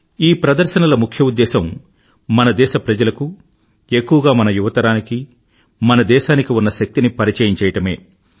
ఈ ప్రదర్శనల ముఖ్య ఉద్దేశ్యం మన దేశ ప్రజలకు ఎక్కువగా మన యువతరానికి మన దేశానికి ఉన్న శక్తిని పరిచయం చేయడమే